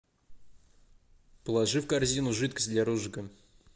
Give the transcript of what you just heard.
положи в корзину жидкость для розжига